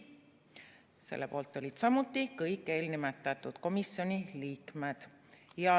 Selle poolt olid samuti kõiki eelnimetatud komisjoni liikmed.